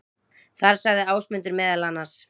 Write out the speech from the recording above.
Þar sagði Ásmundur meðal annars: